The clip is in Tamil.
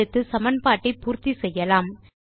அடுத்து சமன்பாட்டை பூர்த்தி செய்யலாம்